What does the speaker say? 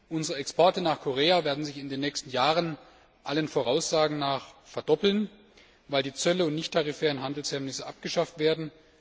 Unsere Exporte nach Korea werden sich in den nächsten Jahren allen Voraussagen nach verdoppeln, weil die Zölle und die nichttarifären Handelshemmnisse abgeschafft werden